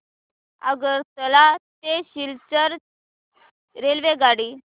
आगरतळा ते सिलचर रेल्वेगाडी